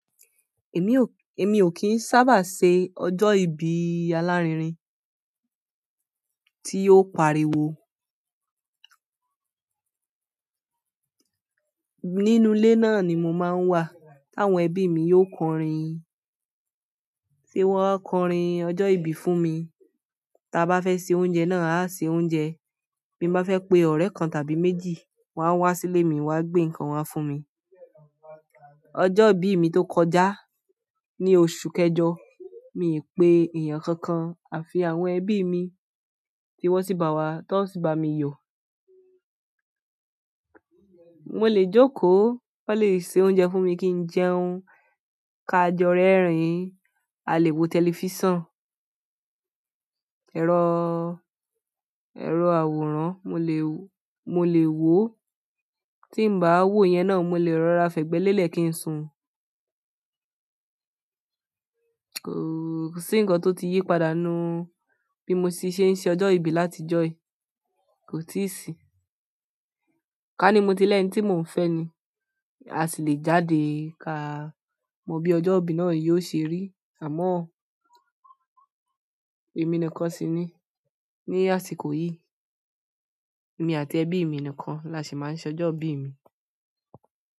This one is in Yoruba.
Èmi ò kí ń sábà ṣe ọjọ́ ìbí alárinrin tí ó pariwo. Nínú ilé náà ni mo máa ń wà, táwọn ẹbí mi yóò kọrin, tí wọ́n kọrin ọjọ́ ìbí fún mi. Taa bá fẹ́ ṣe oúnjẹ náà a ṣe oúnjẹ. Bí mo bá fẹ́ pe ọ̀rẹ́ kan tàbí méjì, wọ́n á wá sílé mi wọn á gbé ǹkan wa fún mi. Ọjọ́ ìbí mi tó kọjá ní oṣù kẹjọ, mi ò pe èèyàn kankan, àfi àwọn ẹbí mi tí wọ́n sì bá wa, tí wọn sì bá mi yọ̀. Wọ́n lè jókòó, wọ́n lè ṣe oúnjẹ fún mi kí n jẹun, ká jọ rẹ́rìn, a lè wo tẹlifíṣàn, ẹ̀rọ̀ àwòrán mo lè wó. Tí mi ò bá wo ìyẹn náà, mo lè rọra fẹ̀gbẹ́ lélẹ̀ kí n sun. Kò sí ǹkan tí o tí yípadà nínú bí mo ti sé ń se ọjọ́ ìbí láti ọjọ́ yìí, kò tí sìí. Ká ní mo ti lẹ́hìn tí mò ń fẹ́ ni, a sì lè jáde ká mọ bí ọjọ́ ìbí náà yóò ṣe rí. Àmọ́, èmi nìkan sì ní ní àsìkò yí. Èmi àti ẹbí mi nìkan la ṣì máa ń ṣe ọjọ́ ìbí mi.